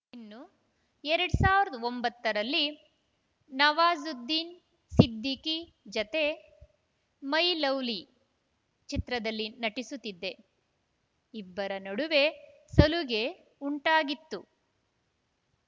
ಇನ್ನು ಎರಡ್ ಸಾವಿರದ ಒಂಬತ್ತರಲ್ಲಿ ನವಾಜುದ್ದೀನ್‌ ಸಿದ್ದಿಖಿ ಜತೆ ಮೈ ಲವ್ಲಿ ಚಿತ್ರದಲ್ಲಿ ನಟಿಸುತ್ತಿದ್ದೆ ಇಬ್ಬರ ನಡುವೆ ಸಲುಗೆ ಉಂಟಾಗಿತ್ತು